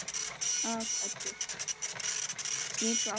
Nuddar kaldar hendur.